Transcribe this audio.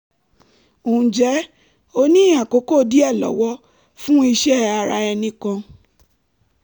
ǹjẹ́ o ní àkókò díẹ̀ lọ́wọ́ fún iṣẹ́ ara ẹni kan?